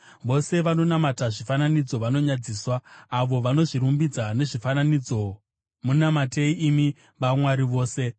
Vose vanonamata zvifananidzo vanonyadziswa, avo vanozvirumbidza nezvifananidzo, munamatei, imi vamwari vose!